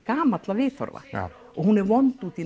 gamalla viðhorfa og hún er vond út í